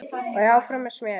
Og áfram með smérið.